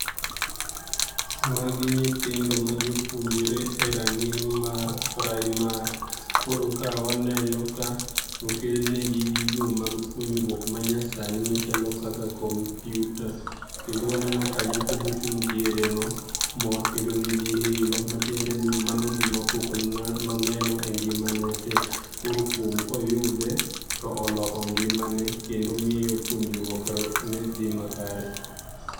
Magi nyithindo ma jopuonjre e rang'iny mar primary. Koro ka waneno ka okelnegi gigo mag puonjruok manyasani machalo kaka computer, kendo waneno ka nyako mochung diere no mor kendo nigi hilo matiende ni mano gima pok noneno e ngima ne tee koro kuom koyude, to oloko ngima kendo miyo puonjruok ne dhi makare.